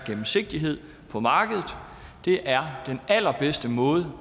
gennemsigtighed på markedet det er den allerbedste måde